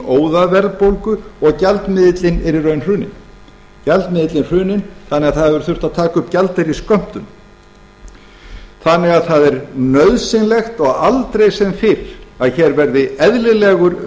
óðaverðbólgu og gjaldmiðillinn er í raun hruninn þannig að það hefur þurft að taka upp gjaldeyrisskömmtun það er því nauðsynlegt og aldrei sem fyrr að hér verði eðlilegur